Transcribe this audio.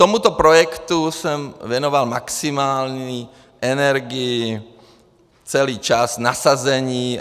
Tomuto projektu jsem věnoval maximální energii celý čas, nasazení.